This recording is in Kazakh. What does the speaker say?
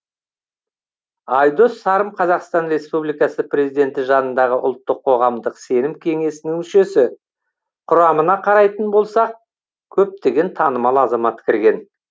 айдос сарым қазақстан республикасы президенті жанындағы ұлттық қоғамдық сенім кеңесінің мүшесі құрамына қарайтын болсақ көптеген танымал азамат кірген